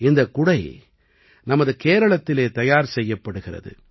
இந்தக் குடை நமது கேரளத்திலே தயார் செய்யப்படுகிறது